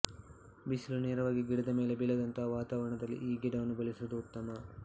ಬಿಸಿಲು ನೇರವಾಗಿ ಗಿಡದ ಮೇಲೆ ಬೀಳದಂತಹ ವಾತಾವರಣದಲ್ಲಿ ಈ ಗಿಡವನ್ನು ಬೆಳೆಸುವುದು ಉತ್ತಮ